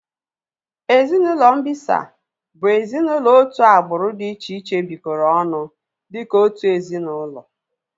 Ezinaụlọ mbisa bụ ezinaụlọ otu agbụrụ dị iche iche bikoro ọnụ dịka otu ezinaụlọ